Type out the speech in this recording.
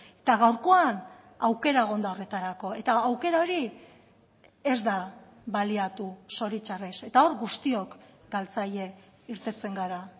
eta gaurkoan aukera egon da horretarako eta aukera hori ez da baliatu zoritxarrez eta hor guztiok galtzaile irteten gara